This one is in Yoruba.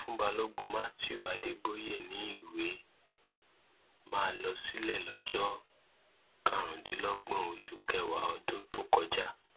wọn fún balógun matthew adeboye ní ìwé máa lọ sílẹ lọjọ karùndínlọgbọn oṣù kẹwàá ọdún tó kọjá